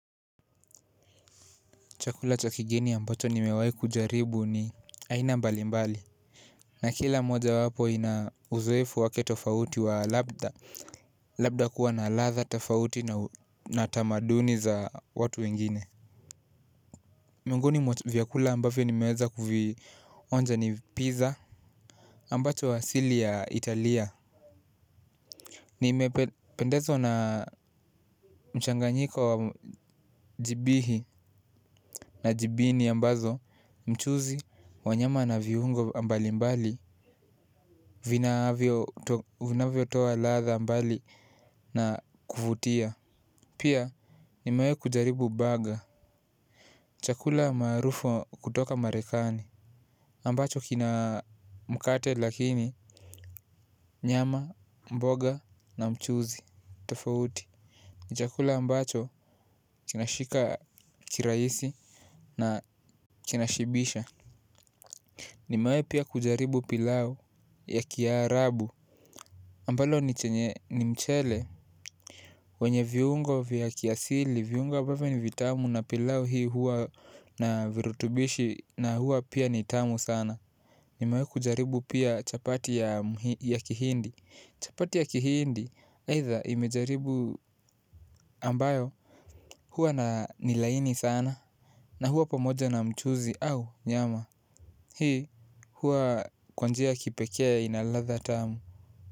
Chakula chakigeni ambacho ni mewai kujaribu ni aina mbali mbali. Na kila moja wapo ina uzoefu wake tofauti wa labda labda kuwa na latha, tafauti na tamaduni za watu wengine. Miongoni mwa vyakula ambavyo ni meweza kuvionja ni pizza ambacho asili ya Italia. Nimependezwa na mchanganyiko wa jibihi na jibini ambazo mchuzi. Wanyama na viungo mbali mbali vinavyo toa latha mbali na kuvutia. Pia nimewai kujaribu burger. Chakula maarufo kutoka marekani ambacho kina mkate lakini nyama, mboga na mchuzi tofauti. Ni chakula ambacho kinashika kirahisi na kinashibisha. Ni mewai pia kujaribu pilau ya kiarabu ambalo ni chenye ni mchele wenye viungo vya kiasili, viungo ambavyo ni vitamu na pilau hii huwa na virutubishi na huwa pia nitamu sana. Nimewai kujaribu pia chapati ya kihindi. Chapati ya kihindi, aitha imejaribu ambayo huwa na nilaini sana. Na huwa pamoja na mchuzi au nyama. Hii huwa kwa njia ya kipekee inaladha tamu.